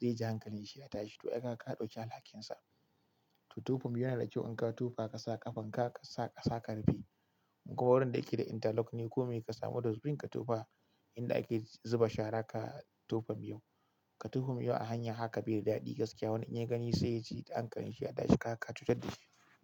zai ji hankalin shi ya tashi to ai kaga ka dauki alhakin sa. To tofa miyo yana da kyau idan ka tofa ka sa ƙafan ka ka sa ƙasa karfe. Koh wurin da yake da interlock ne ko me ka samu dosbin, ka tofa inda ake zuba shara ka tofa miyo. Ka tofa miyo a hanya haka bai da daɗi gaskiya. Wani in ya gani sai ya ji hankalin shi ya tashi kaga ka cutar da shi.